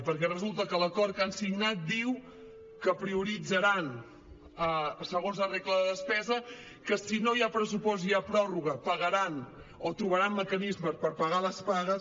perquè resulta que l’acord que han signat diu que prioritzaran segons la regla de despesa que si no hi ha pressupost i hi ha prorroga pagaran o trobaran mecanismes per pagar les pagues